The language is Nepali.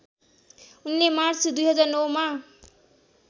उनले मार्च २००९ मा